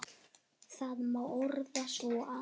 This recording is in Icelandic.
Þetta má orða svo að